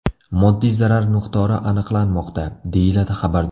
Moddiy zarar miqdori aniqlanmoqda”, deyiladi xabarda.